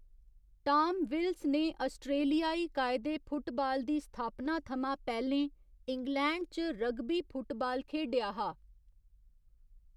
टाम विल्स ने आस्ट्रेलियाई कायदे फुटबाल दी स्थापना थमां पैह्‌‌‌लें इंग्लैंड च रग्बी फुटबाल खेढेआ हा।